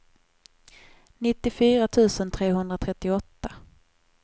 nittiofyra tusen trehundratrettioåtta